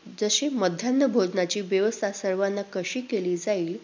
जशी मध्यान्ह भोजनाची व्यवस्था सर्वांना कशी केली जाईल?